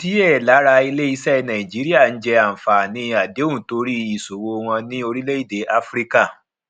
díẹ lára iléiṣẹ nàìjíríà ń jẹ àǹfààní àdéhùn torí ìṣòwò wọn ní orílẹèdè áfíríkà